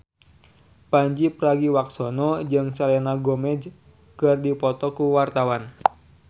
Pandji Pragiwaksono jeung Selena Gomez keur dipoto ku wartawan